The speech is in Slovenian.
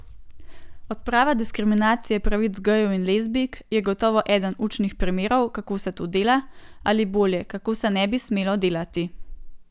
Odprava diskriminacije pravic gejev in lezbijk je gotovo eden učnih primerov, kako se to dela, ali bolje, kako se ne bi smelo delati.